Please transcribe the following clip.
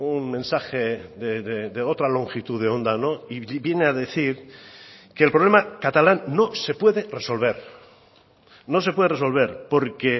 un mensaje de otra longitud de onda y viene a decir que el problema catalán no se puede resolver no se puede resolver porque